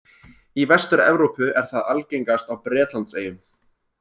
Í Vestur-Evrópu er það algengast á Bretlandseyjum.